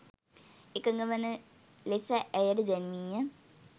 එකඟ වන ලෙස ඇයට දැන්වීය.